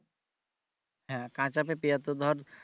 হ্যাঁ কাঁচা পেঁপে এ তো ধর